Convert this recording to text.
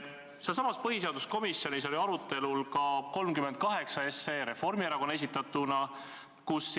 Sealsamas põhiseaduskomisjonis oli arutelul ka 37 SE Reformierakonna fraktsiooni esitatuna.